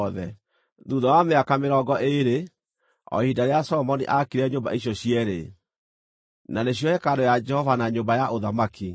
Thuutha wa mĩaka mĩrongo ĩĩrĩ, o ihinda rĩrĩa Solomoni aakire nyũmba icio cierĩ; na nĩcio hekarũ ya Jehova na nyũmba ya ũthamaki,